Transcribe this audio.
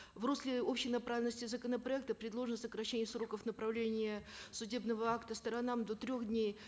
в русле общей направленности законопроекта предложено сокращение сроков направления судебного акта сторонам до трех дней